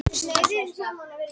Andersson ekki meira með